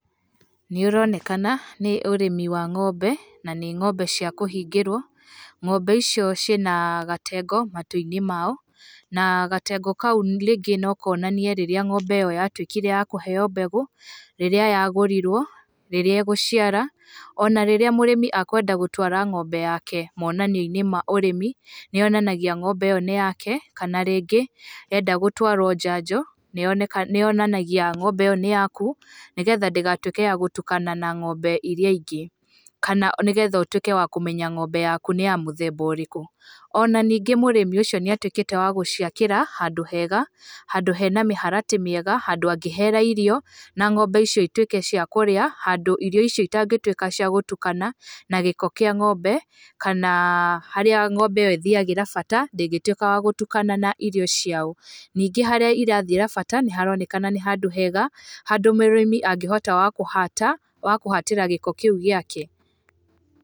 NĨ ũronekana nĩ ũrĩmi wa ng'ombe na nĩ ng'ombe cia kũhingĩrwo. Ng'ombe icio ciena gatengo matũinĩ macio na gatengo kau rĩngĩ nokonanie rĩrĩa ngombe ĩyo yatwĩkire ya kũheo mbegũ, rĩrĩa yagũrirwo, rĩrĩa ĩgũciara, ona rĩrĩa mũrĩmi ĩkwenda gũtwara ngombe yake monanioinĩ ma ũrĩmi, nĩ yonanagĩa ngombe ĩyo nĩ yake kana rĩngĩ enda gũtwaro njanjo, nĩyonanagia ngombe ĩyo nĩ yaku, nĩ getha ndĩgatwike ya gũtukana na ngombe iria ingĩ. Kana nĩ getha ũtwike wa kũmenya ngombe yaku nĩ ya mũthemba ũrikũ. Ona ningĩ mũrĩmi ũcio nĩ atwĩkĩte wa gũciakĩra handũ hega, handũ hena mĩharatĩ mĩega, handũ angĩhera irio na ngombe icio itwĩke cia kũrĩa. Handũ irio icio itangĩtwĩka cia gũtũkana na gĩko kĩa ngombe, kana harĩa ngombe ĩyo ĩthiagĩra bata, ndingĩtwĩka ya gũtukana na irio ciayo. Nĩngi harĩa irathiĩra bata nĩ haroneka nĩ handũ hega, handũ mũrĩmi angihotaga kuhaatĩra gĩko kĩu gĩake.